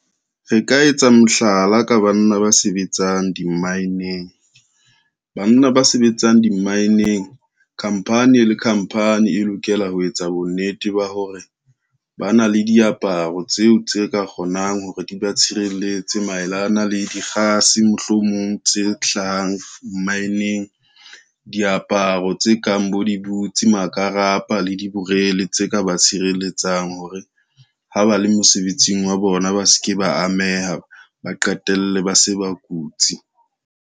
Re ka etsa mohlala ka banna ba sebetsang dimmaineng, banna ba sebetsang dimmaineng, khampani le khampani e lokela ho etsa bonnete ba hore ba na le diaparo tseo tse ka kgonang hore di ba tshireletse maelana le dikgase mohlomong tse hlahang mmaeneng. Diaparo tse kang bo dibutsi, makarapa le diborele tse ka ba tshireletsang hore ha ba le mosebetsing wa bona, ba se ke ba ameha, ba qetelle ba se ba kutsi.